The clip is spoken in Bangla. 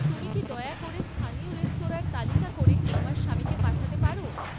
তুমি কি দয়া করে স্থানীয় রেস্তরাঁঁর তালিকা করে আমার স্বামীকে পাঠাতে পারো?